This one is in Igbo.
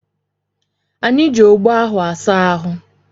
Anyị ji ogbo asa ahụ anyị